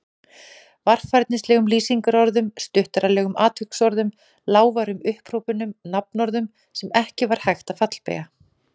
Varfærnislegum lýsingarorðum, stuttaralegum atviksorðum, lágværum upphrópunum, nafnorðum sem ekki var hægt að fallbeygja.